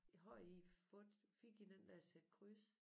Har I fået fik I den der sæt kryds